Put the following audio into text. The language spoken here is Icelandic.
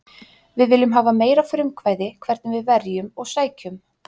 Við viljum hafa meira frumkvæði hvernig við verjum og sækjum.